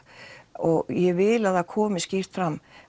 og ég vil að það komi skýrt fram